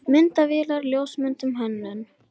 MYNDAVÉLAR, LJÓSMYNDUN, HÖNNUN